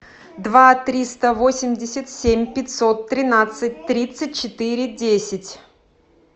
два триста восемьдесят семь пятьсот тринадцать тридцать четыре десять